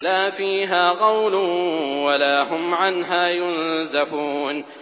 لَا فِيهَا غَوْلٌ وَلَا هُمْ عَنْهَا يُنزَفُونَ